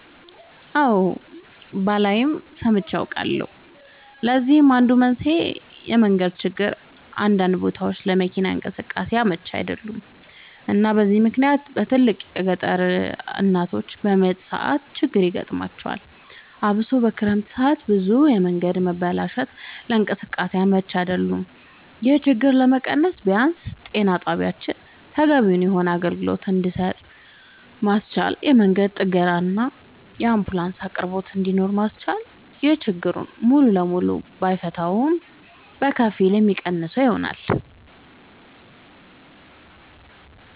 አወ ባላይም ሰምቼ አውቃለሁኝ ለዚህም አንዱ መንስኤ የመንገድ ችግር አንዳንድ ቦታወች ለመኪና እንቅስቃሴ አመች አይደሉም እና በዚህ ምክንያት በትልቁ የገጠር እናቶች በምጥ ሰዓት ችግር ይገጥማቸዋል አብሶ በክረምት ሰዓት ብዙ የመንገድ መበላሸቶች ለእንቅስቃሴ አመች አይደሉም ይሄን ችግር ለመቀነስ ቢያንስ ጤና ጣቢያወችን ተገቢውን የሆነ አገልግሎት እንድሰጡ ማስቻልና የመንገድ ጥገናና የአንቡላንስ አቅርቦት እንድኖር ማስቻል ይሄን ችግር ሙሉ ለሙሉ ባይሆንም በከፊል የሚቀንሰው ይሆናል